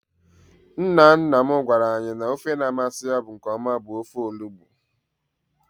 Nna nna m gwara anyị n'ofe na-amasị ya nkeọma bụ ofe olugbo.